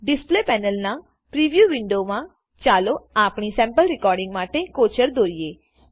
display પેનલના preview વિન્ડોમા ચાલો આપણી સેમ્પલ રેકોડીંગ માટે કોચર દોરીએ